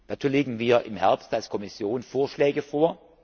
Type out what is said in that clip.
Dazu legen wir im Herbst als Kommission Vorschläge